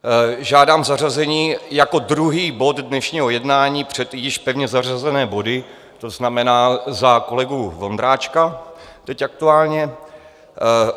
Žádám zařazení jako druhý bod dnešního jednání před již pevně zařazené body, to znamená za kolegu Vondráčka teď aktuálně.